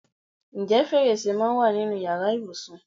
Ǹjẹ́ fèrèsé máa ń wà nínú ìyára ibùsùn?